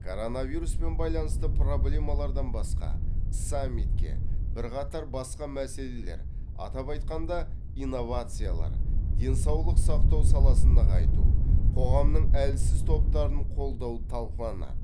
коронавируспен байланысты проблемалардан басқа саммитке бірқатар басқа мәселелер атап айтқанда инновациялар денсаулық сақтау саласын нығайту қоғамның әлсіз топтарын қолдау талқыланады